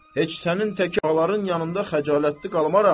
heç sənin tək ağaların yanında xəcalətli qalmaram.